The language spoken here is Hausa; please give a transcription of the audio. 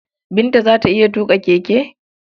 Binta za ta iya tuƙa keke?